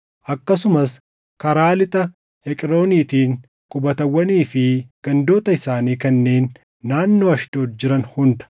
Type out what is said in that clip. akkasumas karaa lixa Eqrooniitiin qubatawwanii fi gandoota isaanii kanneen naannoo Ashdood jiran hunda,